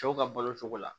Cɛw ka balo cogo la